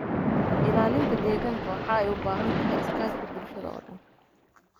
Ilaalinta deegaanka waxay u baahan tahay iskaashi bulshada oo dhan.